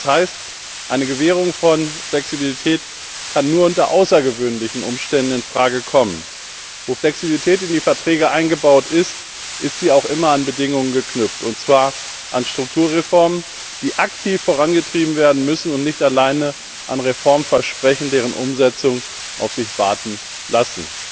Das heißt, eine Gewährung von Flexibilität kann nur unter außergewöhnlichen Umständen in Frage kommen. Wo Flexibilität in die Verträge eingebaut ist, ist sie auch immer an Bedingungen geknüpft, und zwar an Strukturreformen, die aktiv vorangetrieben werden müssen, und nicht alleine an Reformversprechen, deren Umsetzung auf sich warten lässt.